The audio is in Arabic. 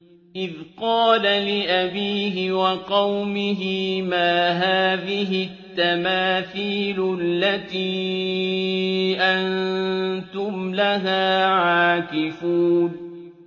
إِذْ قَالَ لِأَبِيهِ وَقَوْمِهِ مَا هَٰذِهِ التَّمَاثِيلُ الَّتِي أَنتُمْ لَهَا عَاكِفُونَ